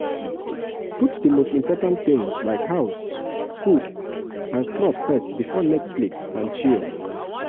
put di most important things like house food and cloth first before netflix and chill